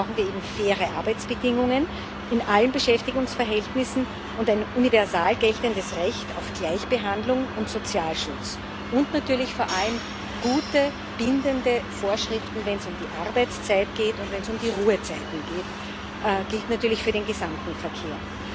Dafür brauchen wir eben faire Arbeitsbedingungen in allen Beschäftigungsverhältnissen und ein universal geltendes Recht auf Gleichbehandlung und Sozialschutz und natürlich vor allem gute, bindende Vorschriften, wenn es um die Arbeitszeit und um die Ruhezeiten geht das gilt natürlich für den gesamten Verkehr.